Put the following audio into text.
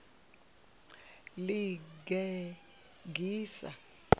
ḽigegise